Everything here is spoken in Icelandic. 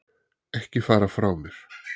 Ekki fara frá mér!